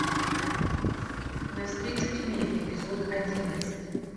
на встречу тьме эпизод одиннадцать